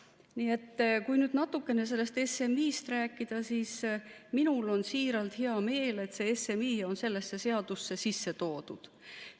Nii et kui nüüd natukene sellest SMI-st rääkida, siis minul on siiralt hea meel, et see SMI on sellesse seadusse sisse toodud.